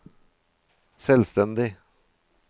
selvstendig